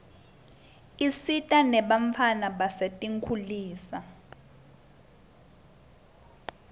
isita nebantfwana basetinkitulisa